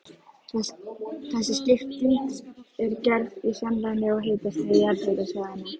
Þessi skipting er gerð í samræmi við hitastig jarðhitasvæðanna.